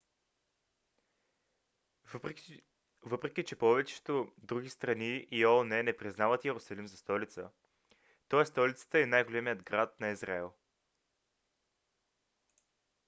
въпреки че повечето други страни и оон не признават йерусалим за столица той е столицата и най-големият град на израел